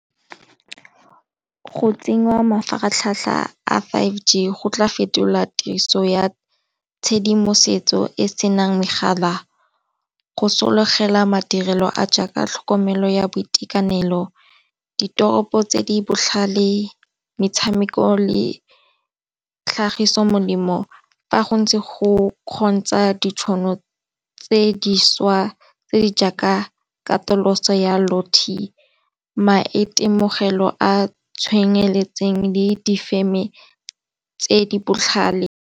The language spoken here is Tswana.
Go tsenngwa mafaratlhatlha a five g go tla fetola tiriso ya tshedimosetso e senang megala go sologela madirelo a jaaka tlhokomelo ya boitekanelo, ditoropo tse di botlhale, metshameko le tlhagiso molemo, fa go ntse go kgontsha ditšhono tse dišwa tse di jaaka katoloso ya maitemogelo a tshwenye feletseng le difeme tse di botlhale.